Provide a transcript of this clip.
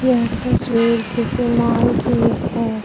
यह तस्वीर किसी मॉल की है।